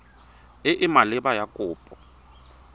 e e maleba ya kopo